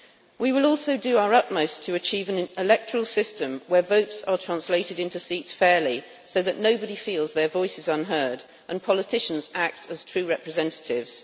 We will also do our utmost to achieve an electoral system in which votes are translated into seats fairly, so that nobody feels their voice is unheard and politicians act as true representatives.